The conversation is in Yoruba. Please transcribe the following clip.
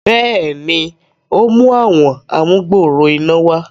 béèni, o mú Àwọn amugbooro iná wá.